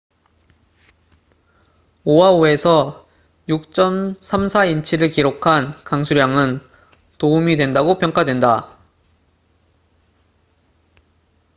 오하우에서 6.34인치를 기록한 강수량은 도움이 된다고 평가된다